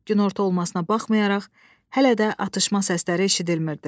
Günorta olmasına baxmayaraq, hələ də atışma səsləri eşidilmirdi.